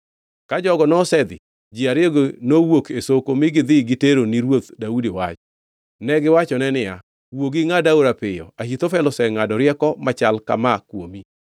Ka jogo nosedhi, ji ariyogi nowuok e soko mi gidhi gitero ni ruoth Daudi wach. Negiwachone niya, “Wuogi ingʼad aora piyo, Ahithofel osengʼado rieko machal kama kuomi.”